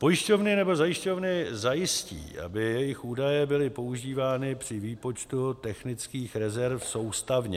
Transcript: Pojišťovny nebo zajišťovny zajistí, aby jejich údaje byly používány při výpočtu technických rezerv soustavně.